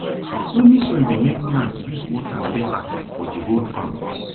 loamy soil dey make plants use water better for di whole farm